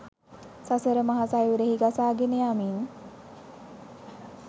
සසර මහ සයුරෙහි ගසාගෙන යමින්